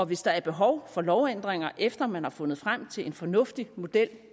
hvis der er behov for lovændringer efter man har fundet frem til en fornuftig model